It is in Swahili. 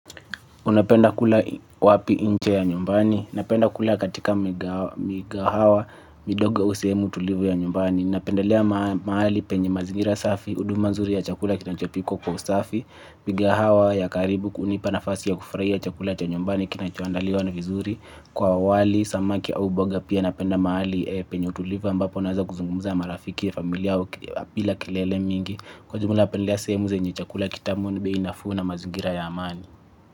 Unapenda kula wapi nje ya nyumbani? Napenda kula katika migahawa midogo yenye utulivu, ya nyumbani. Napenda kula mahali penye mazingira safi, huduma nzuri ya chakula kinachopikwa kwa usafi. Mikahawa ya karibu kunipa nafasi ya kufurahia chakula cha nyumbani kinachoandaliwa vizuri. Kwa wali, samaki au mboga, pia napenda mahali penye utulivu ambapo naweza kuzungumza na marafiki na familia bila kelele nyingi. Kwa jumla, napendelea sehemu zenye chakula kitamu, bei nafuu na mazingira ya amani.